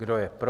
Kdo je pro?